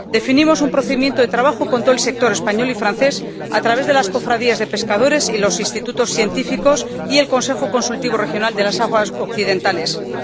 definimos un procedimiento de trabajo con todo el sector español y francés a través de las cofradías de pescadores, los institutos científicos y el Consejo Consultivo Regional de las Aguas Occidentales Australes.